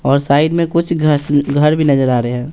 और साइड में कुछ घस घर भी नजर आ रहे हैं।